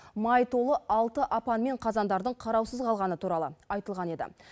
май толы алты апан мен қазандардың қараусыз қалғаны туралы айтылған еді